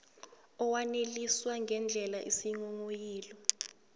awaneliswa ngendlela isinghonghoyilo